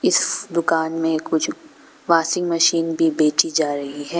दुकान में कुछ वॉशिंग मशीन भी बेची जा रही है।